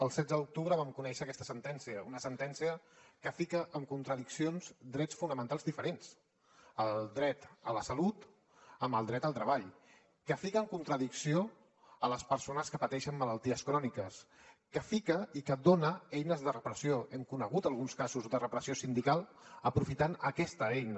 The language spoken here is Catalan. el setze d’octubre vam conèixer aquesta sentència una sentència que fica en contradicció drets fonamentals diferents el dret a la salut amb el dret al treball que fica en contradicció les persones que pateixen malalties cròniques que fica i que dona eines de repressió hem conegut alguns casos de repressió sindical aprofitant aquesta eina